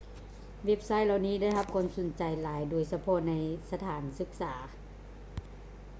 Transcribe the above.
ເວັບໄຊທ໌ເຫຼົ່ານີ້ໄດ້ຮັບຄວາມສົນໃຈຫຼາຍ ໂດຍສະເພາະໃນສະຖານສຶກສາ